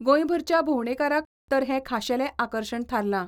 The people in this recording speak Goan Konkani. गोंयभरच्या भोंवडेकाराक तर हें खाशेलें आकर्शण थारलां.